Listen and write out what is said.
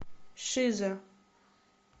шиза